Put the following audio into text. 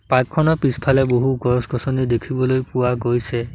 Park খনৰ পিছফালে বহু গছ-গছনি দেখিবলৈ পোৱা গৈছে।